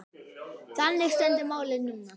Þannig stendur málið núna.